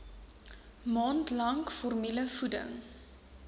maand lank formulevoeding